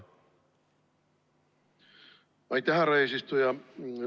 Aitäh, härra eesistuja!